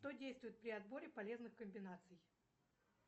что действует при отборе полезных комбинаций